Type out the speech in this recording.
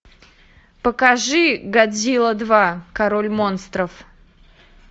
покажи годзилла два король монстров